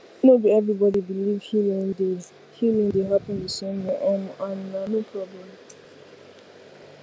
no be everybody believe healing dey healing dey happen the same way um and na no problem